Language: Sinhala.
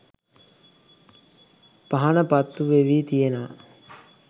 පහන පත්තු වෙවී තියෙනවා.